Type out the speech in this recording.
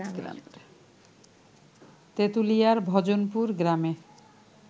তেঁতুলিয়ার ভজনপুর গ্রামের